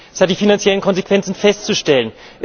Es hat die finanziellen Konsequenzen festzustellen.